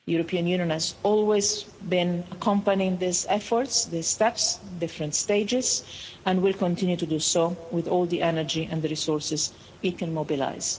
The European Union has always been accompanying these efforts, these steps, different stages, and will continue to do so with all the energy and the resources it can mobilise.